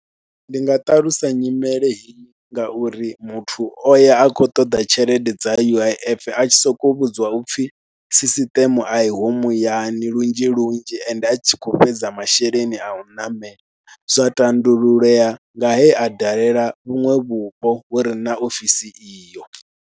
Ndi nga ṱalusa nyimele heyi ngauri muthu o ya a khou ṱoḓa tshelede dza U_I_F, a tshi sokou vhudziwa u pfhi sisiṱeme a iho muyani lunzhi lunzhi, ende a tshi khou fhedza masheleni a u ṋamela. Zwa tandululea nga he a dalela vhuṅwe vhupo vhu re na ofisi iyo.